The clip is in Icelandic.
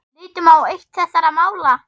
Lítum á eitt þessara mála.